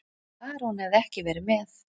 Bara hún hefði ekki verið með.